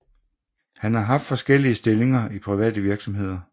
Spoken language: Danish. Han har haft forskellige stillinger i private virksomheder